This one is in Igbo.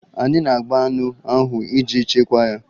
Anyị na-agba anụ ahụ iji chekwaa ya